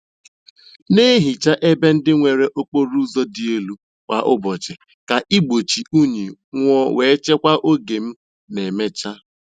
Na-ehicha ebe ndị nwere okporo ụzọ dị elu kwa ụbọchị ka igbochi unyi nwuo wee chekwaa oge ma emechaa.